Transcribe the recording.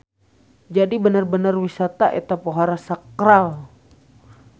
Jadi bener-bener wisata eta pohara sakral.